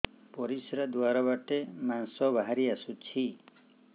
ପରିଶ୍ରା ଦ୍ୱାର ବାଟେ ମାଂସ ବାହାରି ଆସୁଛି